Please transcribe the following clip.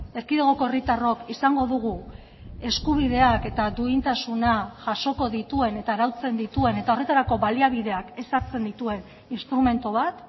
erkidegoko herritarrok izango dugu eskubideak eta duintasuna jasoko dituen eta arautzen dituen eta horretarako baliabideak ezartzen dituen instrumentu bat